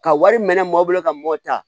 Ka wari minɛ maaw bolo ka mɔta